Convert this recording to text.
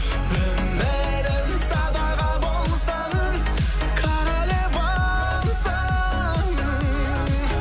өмірім садаға болсын королевамсың